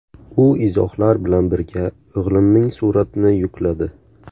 U izohlar bilan birga o‘g‘limning suratini yukladi.